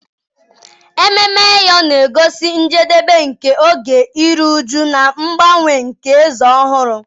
Ememme Eyo na-egosi njedebe nke oge iru ụjụ na mgbanwe na eze ọhụrụ.